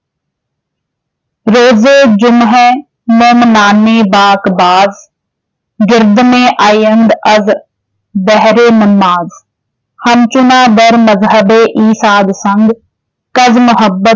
ਰੋਜ਼ੇ ਜੁਮਅਹ ਮੋਮਨਾਨੇ ਬਾਕਬਾਜ਼ । ਗਿਰਦਮੇ ਆਯੰਦ ਅਜ਼ ਬਹਿਰੇ ਨਮਾਜ਼ ॥ ਹਮਚੁਨਾ ਦਰ ਮਜ਼ਹਬੇ ਈਂ ਸਾਧਸੰਗ ॥ ਕਜ਼ ਮੁਹੱਬਤ